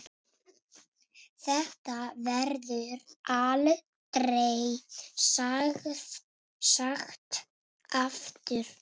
Þetta verður aldrei sagt aftur.